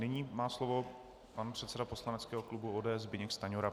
Nyní má slovo pan předseda poslaneckého klubu ODS Zbyněk Stanjura.